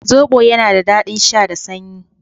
Zobo yana da daɗin sha da sanyi.